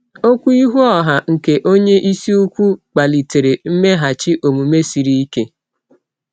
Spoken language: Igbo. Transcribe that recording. Okwu ihu ọha nke onye isi ukwu kpalitere mmeghachi omume siri ike.